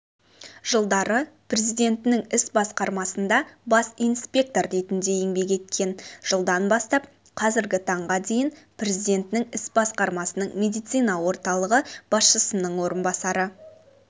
жылдары президентінің іс басқармасында бас инспектор ретінде еңбек еткен жылдан бастап қазіргі таңға дейін президентінің іс басқармасының медицина орталығы басшысының орынбасары